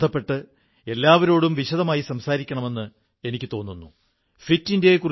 സാധിക്കുവോളം ഇവരെക്കൂടി നിങ്ങളുടെ സന്തോഷത്തിൽ പങ്കാളികളാക്കണമെന്നാണ് എന്റെ ആഗ്രഹം